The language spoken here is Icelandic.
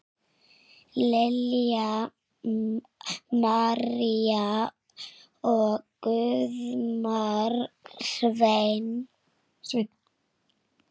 Lilja María og Guðmar Sveinn.